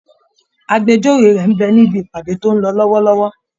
Agbẹjọ́rò rẹ̀ ń bẹ níbi ìpàdé tó ń lọ lọ́wọ́lọ́wọ́